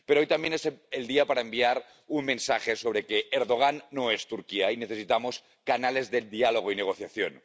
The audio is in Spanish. Pero hoy también es el día para enviar un mensaje sobre que Erdogan no es Turquía y necesitamos canales de diálogo y negociación.